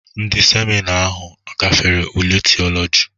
Ndị seminarị ahụ gafere ule Theology?